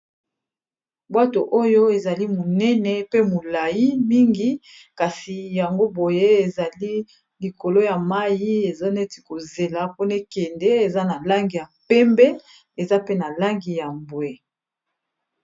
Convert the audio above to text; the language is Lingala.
Bwato oyo ezali monene pe molai mingi kasi yango boye ezali likolo ya mai eza neti kozela mpona ekende eza na langi ya mpembe eza pe na langi ya mbwe.